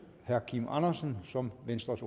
herre kim andersen som venstres